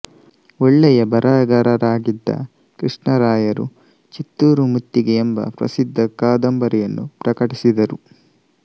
ಒಳ್ಳೆಯ ಬರಹಗಾರರಾಗಿದ್ದ ಕೃಷ್ಣರಾಯರು ಚಿತ್ತೂರು ಮುತ್ತಿಗೆ ಎಂಬ ಪ್ರಸಿದ್ಧ ಕಾದಂಬರಿಯನ್ನು ಪ್ರಕಟಿಸಿದರು